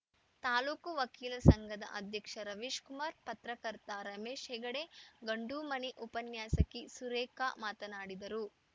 ತಾಲೂಕು ವಕೀಲರ ಸಂಘದ ಅಧ್ಯಕ್ಷ ರವೀಶ್‌ಕುಮಾರ್‌ ಪತ್ರಕರ್ತ ರಮೇಶ್‌ ಹೆಗಡೆ ಗಂಡೂಮನೆ ಉಪನ್ಯಾಸಕಿ ಸುರೇಖಾ ಮಾತನಾಡಿದರು